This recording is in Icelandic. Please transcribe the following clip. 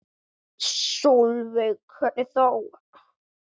Sólveig: Hvernig þá?